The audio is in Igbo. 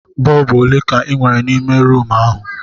Bọlbụ ole ka ị nwere n'ime rumụ ahụ?